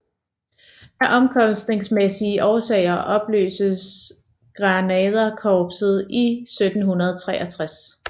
Af omkostningsmæssige årsager opløstes Grenaderkorpset i 1763